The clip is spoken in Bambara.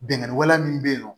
Bingani wale min bɛ yen nɔ